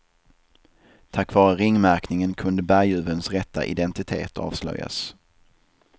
Tack vare ringmärkningen kunde berguvens rätta identitet avslöjas.